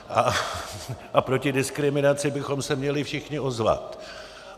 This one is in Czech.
A proti diskriminaci bychom se měli všichni ozvat.